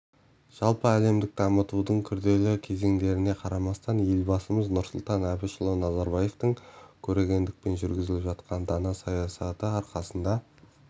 жалпы әлемдік дамудың күрделі кезеңдеріне қарамастан елбасымыз нұрсұлтан әбішұлы назарбаевтың көрегендікпен жүргізіп жатқан дана саясаты арқасында